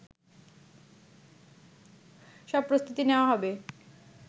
সব প্রস্তুতি নেওয়া হবে